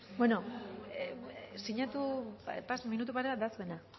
bueno eh siñatu pas minutu paya dasmena